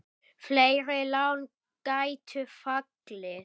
Fleiri lán gætu fallið.